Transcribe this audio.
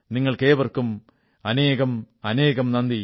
നിങ്ങൾക്കേവർക്കും അനേകം നന്ദി